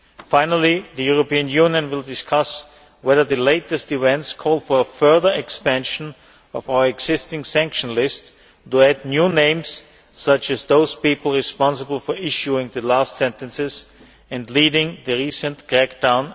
Finally, the European Union will discuss whether the latest events call for a further expansion of our existing sanction list to add new names such as those responsible for issuing the latest sentences and leading the recent crackdown.